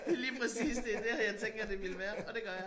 Lige præcis det dét her jeg tænker det ville være og dét gør jeg